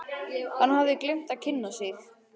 Hann hafði gleymt að kynna sig.